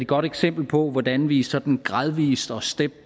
godt eksempel på hvordan vi sådan gradvis og step